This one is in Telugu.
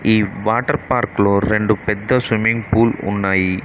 ఈ వాటర్ పార్క్ లో రెండు పెద్ద స్విమ్మింగ్ ఫూల్ ఉన్నాయి.